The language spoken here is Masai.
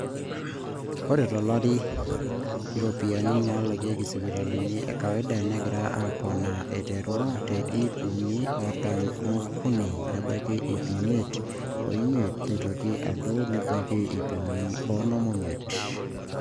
ore tolari iropiyiani naalakieki sipitali ekawaida negira aapona aterru te ip uni oartam ookuni nebaiki ipi imiet oimiet neitoki adou nebaiki ip uni oonom oimiet